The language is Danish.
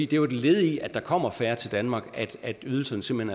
det er et led i at der kommer færre til danmark at ydelserne simpelt